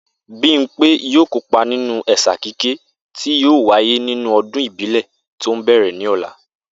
Bímpé yóò kópa nínú è̩sà kíké tí yóò wáyé nínú o̩dún ìbílè̩ tó ń bè̩rè̩ ní ò̩la